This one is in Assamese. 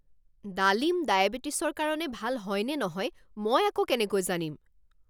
ডালিম ডায়েবেটিছৰ কাৰণে ভাল হয়নে নহয় মই আকৌ কেনেকৈ জানিম?